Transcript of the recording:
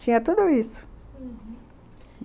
Tinha tudo isso, uhum.